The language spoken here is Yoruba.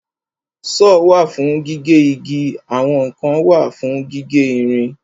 Sọ́ọ̀ wà fún gígé igi àwọn kan wà fún gígé ìrìn.